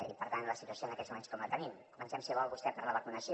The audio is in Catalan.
i per tant la situació en aquests moments com la tenim comencem si vol vostè per la vacunació